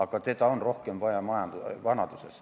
Ja seda on rohkem vaja vanaduses.